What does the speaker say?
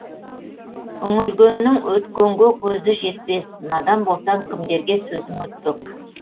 үңілгеннің өткенге көзі жетпек надан болсаң кімдерге сөзің өтпек